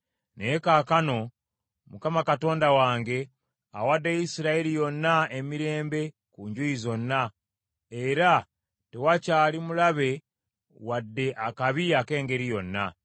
Naye kaakano Mukama Katonda wange awadde Isirayiri yonna emirembe ku njuyi zonna, era tewakyali mulabe wadde akabi ak’engeri yonna.